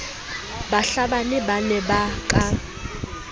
bahlabani ba ne ba ka